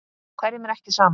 Hverjum er ekki sama.